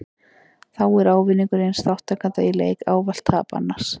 Þá er ávinningur eins þátttakanda í leik ávallt tap annars.